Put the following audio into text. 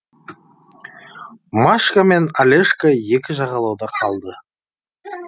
машка мен олежка екі жағалауда қалды